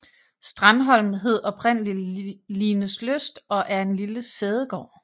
Strandholm hed oprindeligt Lineslyst og er en lille sædegård